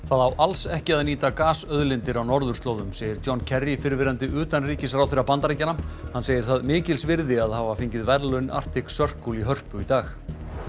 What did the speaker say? það á alls ekki að nýta gasauðlindir á norðurslóðum segir John fyrrverandi utanríkisráðherra Bandaríkjanna hann segir það mikils virði að hafa fengið verðlaun Arctic Circle í Hörpu í dag